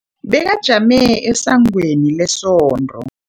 Bekajame esangweni lesonto.